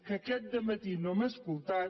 que aquest dematí no hem escoltat